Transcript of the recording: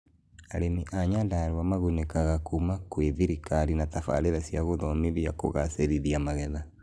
Arĩmi a Nyandarua magũnekaga kũma kwĩ thirikari na tabararera cĩa gũthomithio kũgacĩrithia magetha